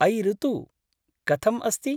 अयि ऋतु! कथम् अस्ति?